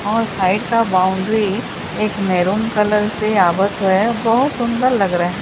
और साइड का बाउंड्री एक मैरून कलर से आवत है बहुत सुंदर लग रहे--